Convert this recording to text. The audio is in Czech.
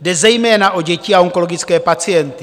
Jde zejména o děti a onkologické pacienty.